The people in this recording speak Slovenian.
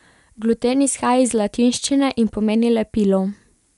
Gluten izhaja iz latinščine in pomeni lepilo.